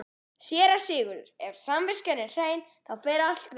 SÉRA SIGURÐUR: Ef samviskan er hrein, þá fer allt vel.